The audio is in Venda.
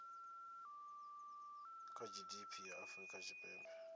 kha gdp ya afrika tshipembe